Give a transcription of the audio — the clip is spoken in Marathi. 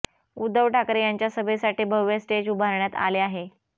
उद्धव ठाकरे यांच्या सभेसाठी भव्य स्टेज उभारण्यात आले आहे